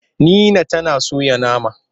Nina tana soya nama.